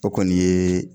O kɔni ye